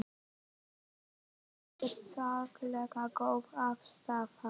Þetta var ekkert sérlega góð aðstaða.